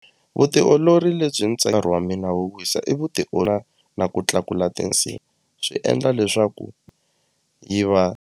Vutiolori lebyi nkarhi wa mina wo wisa i na ku tlakula tinsimbhi swi endla leswaku yi va.